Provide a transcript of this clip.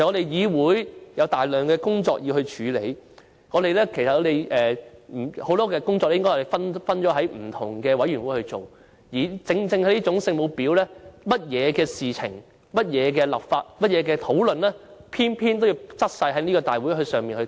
"議會有大量工作要處理，很多工作應該分別交由不同的委員會負責，但正正是這種"聖母婊"，對於甚麼事情、法例等的討論也偏偏要在立法會會議上進行。